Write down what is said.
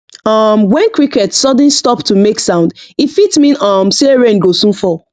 um when crickets sudden stop to make sound e fit mean um say rain go soon fall